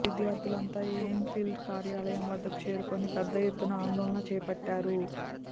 విద్యార్థులంతా ఎయిమ్ ఫిల్ కార్యాలయం వద్దకు చేరుకొని పెద్ద ఎత్తున ఆందోళన చేపట్టారు